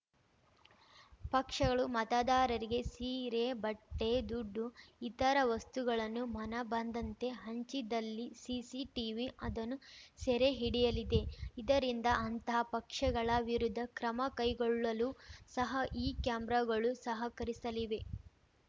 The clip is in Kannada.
ಪಕ್ಷಗಳು ಮತದಾರರಿಗೆ ಸೀರೆ ಬಟ್ಟೆ ದುಡ್ಡು ಇತರ ವಸ್ತುಗಳನ್ನು ಮನಬಂದಂತೆ ಹಂಚಿದಲ್ಲಿ ಸಿಸಿ ಟಿವಿ ಅದನ್ನು ಸೆರೆ ಹಿಡಿಯಲಿದೆ ಇದರಿಂದ ಅಂತಹ ಪಕ್ಷಗಳ ವಿರುದ್ಧ ಕ್ರಮಕೈಗೊಳ್ಳಲು ಸಹ ಈ ಕ್ಯಾಮರಾಗಳು ಸಹಕರಿಸಲಿವೆ